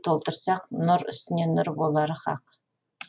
толтырсақ нұр үстіне нұр болары хақ